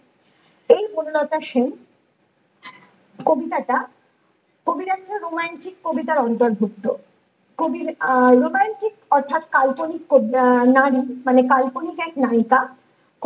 এই বনলতা সেন কবিতাটা কবির একটি romantic কবিতার অন্তর্ভুক্ত কবির আহ romantic অর্থাৎ কাল্পনিক আহ নারী মানে কাল্পনিক এক নায়িকা